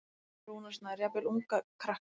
Rúnar Snær: Jafnvel unga krakka?